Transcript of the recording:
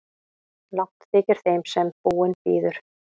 Langt þykir þeim sem búinn bíður.